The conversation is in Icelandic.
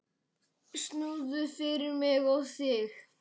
Snúður fyrir mig og þig.